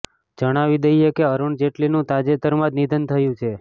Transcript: જણાવી દઇએ કે અરુણ જેટલીનું તાજેતરમાં જ નિધન થયું છે